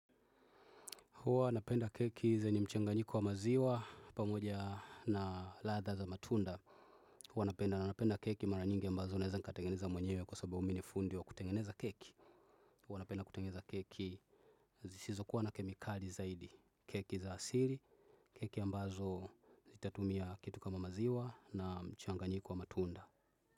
Huwa napenda keki zenye mchanganyiko wa maziwa pamoja na ladha za matunda. Huwa napenda na napenda keki mara nyingi ambazo naeza nikatengeneza mwenyewe kwa sababu mi ni fundi wa kutengeneza keki. Huwa napenda kutengeneza keki zisizo kuwa na kemikali zaidi. Keki za asili, keki ambazo sitatumia kitu kama maziwa na mchanganyiko wa matunda.